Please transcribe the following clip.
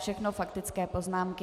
Všechno faktické poznámky.